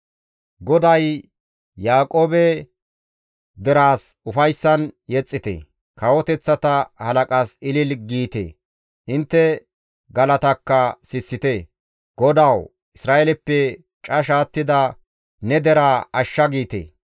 GODAY, «Yaaqoobe deraas ufayssan yexxite; kawoteththata halaqas ilili giite; intte galatakka sissite; ‹GODAWU Isra7eeleppe casha attida ne deraa ashsha› giite.